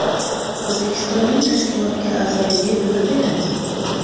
O‘zbekistonning tashkilotga a’zoligi nima beradi?.